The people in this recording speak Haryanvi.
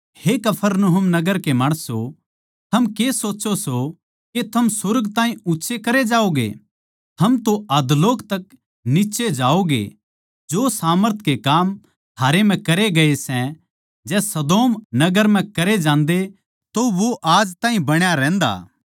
हे कफरनहूम नगर तू के सोचै सै के तू सुर्ग ताहीं ऊँच्चा करया जावैगा तू तो अधोलोक तक नीच्चै जावैगा जो सामर्थ के काम तेरै म्ह करे गये सै जै सदोम नगर म्ह करे जान्दे तो वो आज ताहीं बण्या रहन्दा